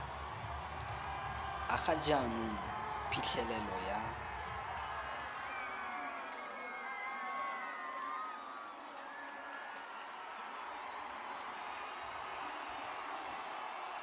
a ga jaanong phitlhelelo ya